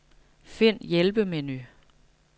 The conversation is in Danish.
Find hjælpemenu.